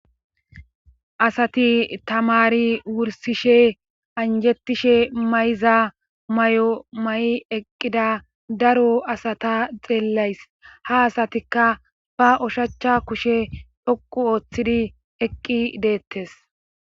Asati tamari wursishe anjettishe mayza may,o may,i eqqida daro asata xeelays ha asatikka ba oshachcha kushe dhoqu ooththidi eqqi deettes.